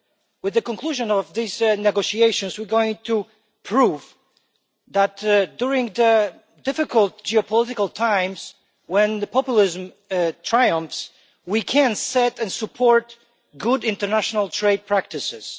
With the conclusion of these negotiations we are going to prove that during difficult geopolitical times, when populism triumphs, we can set and support good international trade practices.